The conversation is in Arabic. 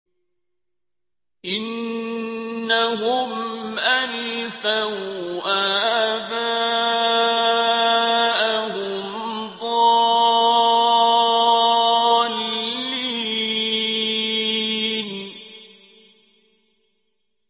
إِنَّهُمْ أَلْفَوْا آبَاءَهُمْ ضَالِّينَ